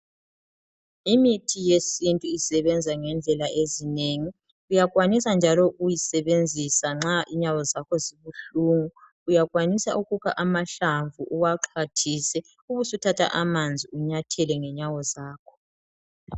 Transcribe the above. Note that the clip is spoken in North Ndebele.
Imithi yesintu isebenza ngendlela ezinengi uyakwanisa njalo ukuyisebenzisa nxa inyawo zakho zibuhlungu uyakwanisa ukukha amahlamvu uwaxhwathise ubusuthatha amanzi unyathele ngenyawo zakho.